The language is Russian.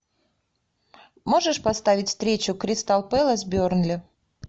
можешь поставить встречу кристал пэлас бернли